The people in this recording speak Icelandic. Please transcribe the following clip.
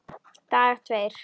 Dagar tveir